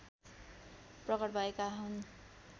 प्रकट भएका हुन्